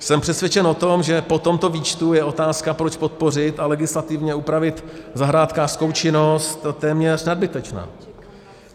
Jsem přesvědčen o tom, že po tomto výčtu je otázka, proč podpořit a legislativně upravit zahrádkářskou činnost, téměř nadbytečná.